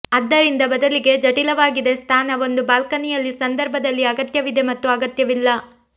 ಆದ್ದರಿಂದ ಬದಲಿಗೆ ಜಟಿಲವಾಗಿದೆ ಸ್ಥಾನ ಒಂದು ಬಾಲ್ಕನಿಯಲ್ಲಿ ಸಂದರ್ಭದಲ್ಲಿ ಅಗತ್ಯವಿದೆ ಮತ್ತು ಅಗತ್ಯವಿಲ್ಲ